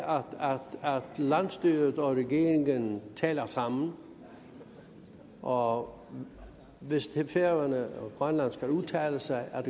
landsstyret og regeringen taler sammen og hvis færøerne og grønland skal udtale sig